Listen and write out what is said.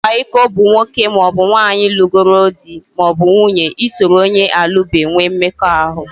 Ikwa iko bụ nwoke maọbụ nwaanyị lụgoro di/nwunye isoro onye alubeghi nwee mmekọahụ